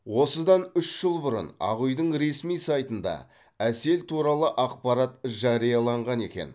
осыдан үш жыл бұрын ақ үйдің ресми сайтында әсел туралы ақпарат жарияланған екен